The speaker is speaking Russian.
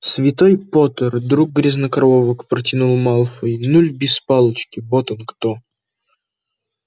святой поттер друг грязнокровок протянул малфой нуль без палочки вот он кто